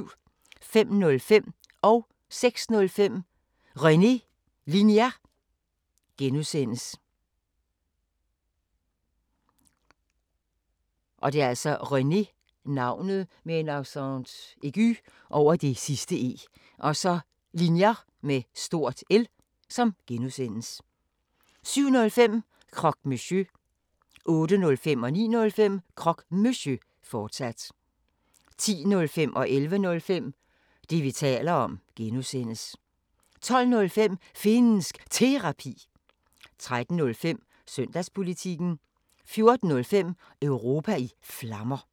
05:05: René Linjer (G) 06:05: René Linjer (G) 07:05: Croque Monsieur 08:05: Croque Monsieur, fortsat 09:05: Croque Monsieur, fortsat 10:05: Det, vi taler om (G) 11:05: Det, vi taler om (G) 12:05: Finnsk Terapi 13:05: Søndagspolitikken 14:05: Europa i Flammer